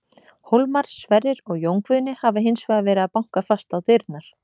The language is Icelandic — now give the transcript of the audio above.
Hólmar, Sverrir og Jón Guðni hafa hins vegar verið að banka fast á dyrnar.